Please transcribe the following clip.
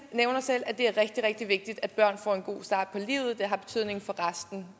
nævner selv at det er rigtig rigtig vigtigt at børn får en god start på livet for det har betydning for resten